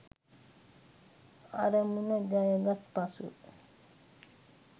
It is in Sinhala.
අරමුණ ජයගත් පසු